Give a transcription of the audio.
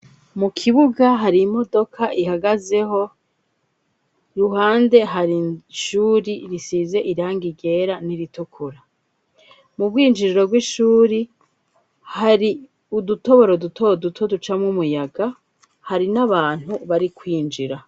Mu kibuga hari imodoka ihagaze, i ruhande hari ishuri risize irangi ryera, n'iritukura, mu bwinjiriro bw'ishuri hari udutoboro duto duto ducamwo umuyaga, hari n'abantu bari kwinjira.